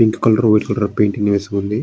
Pink colour white colour painting వేసి ఉంది.